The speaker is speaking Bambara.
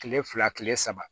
Kile fila kile saba